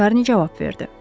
Şarni cavab verdi.